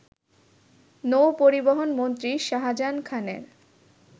নৌপরিবহনমন্ত্রী শাহজাহান খানের